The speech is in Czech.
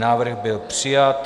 Návrh byl přijat.